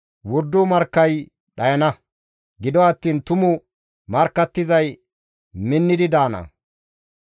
Wordo markkay dhayana; gido attiin tumu markkattizay minnidi de7ana.